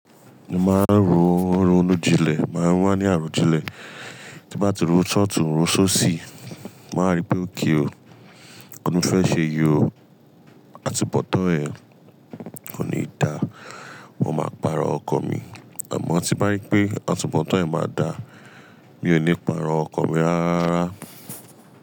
Mo máa ń ro rọrùn jinlẹ, máa wá ní arojinlẹẹ tí n bá ti ro sọ́ọ̀tun, ro sósì, màá rí pé okay o. Ǹkan tí mo fẹ́ ṣe yí o. Àtúnbọ̀tán ẹ̀ kò ní da, mo máa pàrọ̀ ọkọ̀ mi. Àmọ́ tí n bá rí pé àtúnbọ̀tán ẹ̀ máa da, mi ò ní pàrọ̀ ọkọ̀ mi rárá rárá.